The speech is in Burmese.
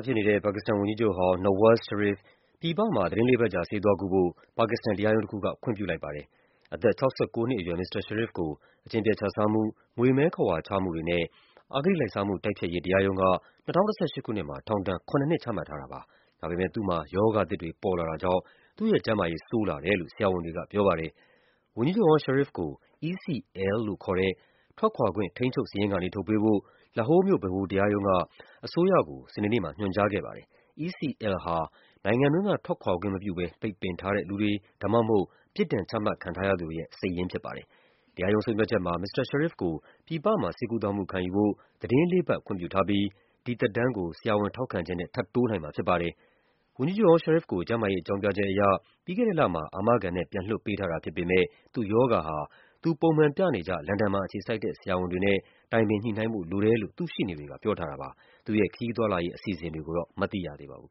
ဖြစ်နေတဲ့ ပါကစ္စတန်ဝန်ကြီးချုပ်ဟောင်း Nawaz Sharif ပြည်ပမှာ သီတင်းလေးပတ်ကြာ ဆေးသွားကုဖို့ ပါကစ္စတန် တရားရုံးတခုက ခွင့်ပြုလိုက်ပါတယ်။ အသက် ၆၉ နှစ်အရွယ် မစ္စတာ Sharif ကို အကျင့်ပျက်ခြစားမှု၊ ငွေမည်းခဝါချမှုတွေနဲ့ အဂတိလိုက်စားမှုတိုက်ဖျက်ရေး တရားရုံးက ၂၀၁၈ ခုနှစ်မှာ ထောင်ဒဏ် ၇ နှစ် ချမှတ်ထားတာပါ။ ဒါပေမယ့် ရောဂါသစ်တွေ ပေါ်လာတာကြောင့် သူ့ရဲ့ကျန်းမာရေး ဆိုးလာတယ်လို့ ဆရာဝန်တွေကပြောပါတယ်။ ဝန်ကြီးချုပ်ဟောင်း Sharif ကို ECL လို့ခေါ်တဲ့ “ထွက်ခွာခွင့် ထိန်းချုပ်စာရင်း” ကနေ ထုတ်ပေးဖို့ လာဟိုးမြို့ ဗဟိုတရားရုံးက အစိုးရကို စနေနေ့မှာ ညွှန်ကြားခဲ့ပါတယ်။ ECL ဟာ နိုင်ငံတွင်းက ထွက်ခွာခွင့်မပြုဘဲ ပိတ်ပင်ထားတဲ့ လူတွေ ဒါမှမဟုတ် ပြစ်ဒဏ်ချမှတ်ခံထားရသူ တွေရဲ့ စာရင်းဖြစ်ပါတယ်။ တရားရုံးဆုံးဖြတ်ချက်မှာ မစ္စတာ Sharif ကို ပြည်ပမှာ ဆေးကုသမှုခံယူဖို့ သီတင်းလေးပတ် ခွင့်ပြုထားပြီး ဒီသက်တမ်းကို ဆရာဝန်ထောက်ခံချက်နဲ့ ထပ်တိုးနိုင်မှာဖြစ်ပါတယ်။ ဝန်ကြီးချုပ်ဟောင်း Sharif ကို ကျန်းမာရေးအကြောင်းပြချက်အရ ပြီးခဲ့တဲ့လမှာ အာမခံနဲ့ ပြန်လွှတ်ပေးထားတာဖြစ်ပေမယ့် သူ့ရောဂါဟာ သူပုံမှန်ပြနေကျ လန်ဒန်မှာအခြေစိုက်တဲ့ ဆရာဝန်တွေနဲ့ တိုင်ပင်ညှိနှိုင်းဖို့ လိုတယ်လို့ သူ့ရှေ့နေတွေက ပြောထားတာပါ။ သူ့ရဲ့ ခရီးသွားလာရေး အစီအစဉ်တွေကိုတော့ မသိရသေးပါဘူး